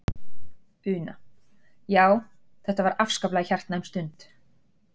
Una: Já, þetta var afskaplega hjartnæm stund?